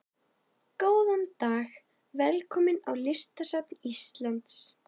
Góðan dag. Velkomin á Listasafn Íslands.